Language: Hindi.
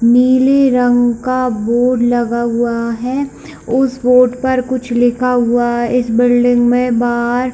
नीली रंग का बोर्ड लगा हुआ है उस बोर्ड पर कुछ लिखा हुआ इस बिल्डिंग में बाहर--